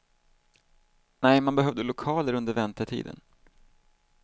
Nej, man behövde lokaler under väntetiden.